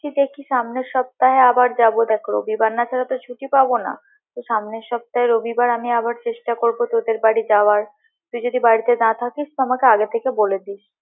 দেখি সামনের সপ্তাহে আবার যাবো দেখ রবিবার না ছাড়া তো আর ছুটি পাবো না তো সামনের সপ্তাহে রবিবার আমি আবার চেষ্টা করবো তোদের বাড়ি যাওয়ার তুই যদি বাড়ি না থাকিস তো আমাকে আগে থেকে বলে দিস।